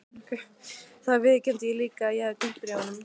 Þá viðurkenndi ég líka að ég hefði týnt bréfunum.